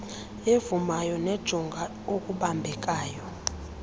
evumayo nejonga okubambekayo